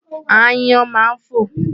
Aáyán máa ń fò.